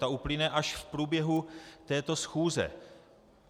Ta uplyne až v průběhu této schůze.